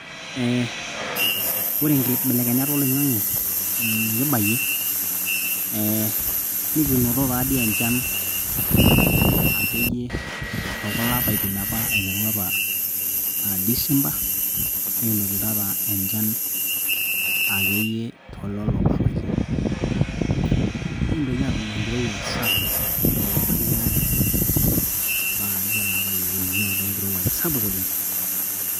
Eee ore inkibelekenyar oloing'ange nikibayie ee nikinoto taadoi enchan tookulo apaitin akeyie aiteru apa December nikinotito apa enchan toololo apaitin nikintoki aatum enkirowua sapuk tolapa liare ompaka akeyie ele apa liekuni kinoto enkirowua sapuk oleng.